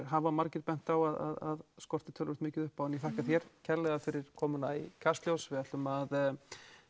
hafa margir bent á að skorti töluvert mikið upp á en ég þakka þér kærlega fyrir komuna í Kastljós við ætlum að